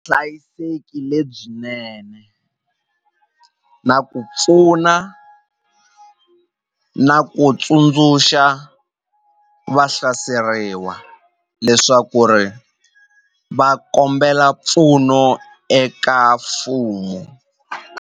lebyinene na ku pfuna na ku tsundzuxa va hlaseriwa leswaku ri va kombela mpfuno eka mfumo.